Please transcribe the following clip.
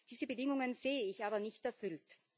Diese Bedingungen sehe ich aber nicht erfüllt.